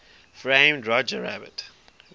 framed roger rabbit